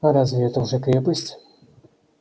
а разве это уже крепость